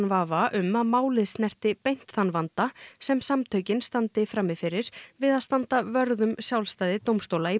vafa um að málið snerti beint þann vanda sem samtökin standi frammi fyrir við að standa vörð um sjálfstæði dómstóla